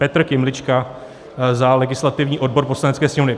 Petr Kymlička za legislativní odbor Poslanecké sněmovny."